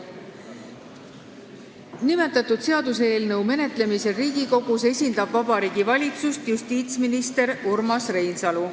Nimetatud seaduseelnõu menetlemisel Riigikogus esindab Vabariigi Valitsust justiitsminister Urmas Reinsalu.